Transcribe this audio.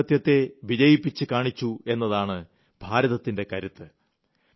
ജനാധിപത്യത്തെ വിജയിപ്പിച്ചു കാണിച്ചു എന്നതാണ് ഭാരതത്തിന്റെ കരുത്ത്